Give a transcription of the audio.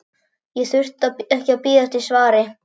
Ég þurfti ekki að bíða eftir svari.